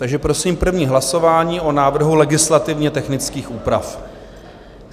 Takže prosím první hlasování o návrhu legislativně technických úprav.